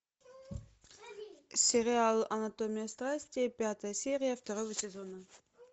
сериал анатомия страсти пятая серия второго сезона